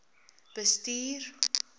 bestuur